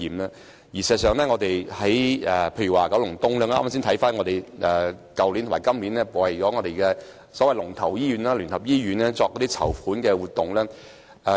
我剛剛翻看我們去年和本年為九龍東聯網的所謂龍頭醫院——基督教聯合醫院——舉辦的籌款活動。